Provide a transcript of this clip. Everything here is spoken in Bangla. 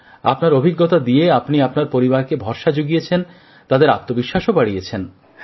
আপনার অভিজ্ঞতা দিয়ে আপনি আপনার পরিবারকে ভরসা জুগিয়েছেন তাদের আত্মবিশ্বাসও বাড়িয়েছেন